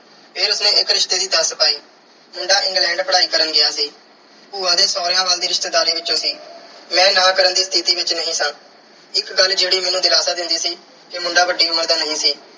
ਫਿਰ ਉਸ ਨੇ ਇੱਕ ਰਿਸ਼ਤੇ ਦੀ ਦੱਸ ਪਾਈ ਮੁੰਡਾ England ਪੜ੍ਹਾਈ ਕਰਨ ਗਿਆ ਸੀ। ਭੂਆ ਦੇ ਸਹੁਰਿਆਂ ਵੱਲ ਦੀ ਰਿਸ਼ਤੇਦਾਰੀ ਵਿੱਚੋਂ ਸੀ। ਮੈਂ ਨਾਂਹ ਕਰਨ ਦੀ ਸਥਿਤੀ ਵਿੱਚ ਨਹੀਂ ਸਾਂ। ਇੱਕ ਗੱਲ ਜਿਹੜੀ ਮੈਨੂੰ ਦਿਲਾਸਾ ਦਿੰਦੀ ਸੀ ਕਿ ਮੁੰਡਾ ਵੱਡੀ ਉਮਰ ਦਾ ਨਹੀਂ ਸੀ।